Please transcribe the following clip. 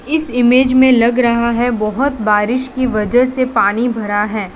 इस इमेज में लग रहा है बहोत बारिश की वजह से पानी भरा है।